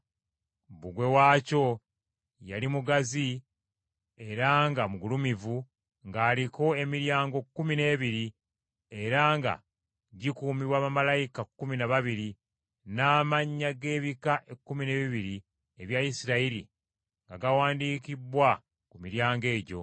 Bbugwe waakyo yali mugazi era nga mugulumivu, ng’aliko emiryango kkumi n’ebiri era nga gikuumibwa bamalayika kkumi na babiri, n’amannya g’ebika ekkumi n’ebibiri ebya Isirayiri nga gawandiikibbwa ku miryango egyo.